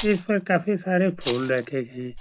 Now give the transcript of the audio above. इस पर काफी सारे फूल रखे गए हैं।